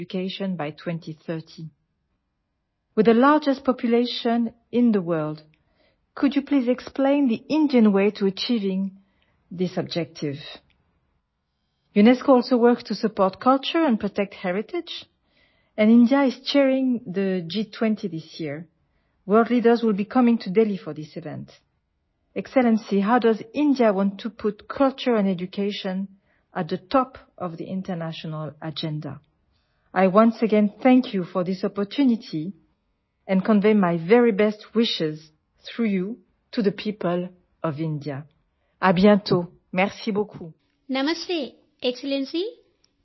director general UNESCO namaste X లెన్సీ